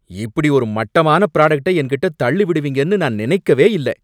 இப்படி ஒரு மட்டமான ப்ராடக்ட்ட என்கிட்ட தள்ளி விடுவீங்கன்னு நான் நினைக்கவே இல்ல.